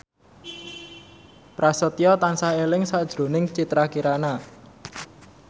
Prasetyo tansah eling sakjroning Citra Kirana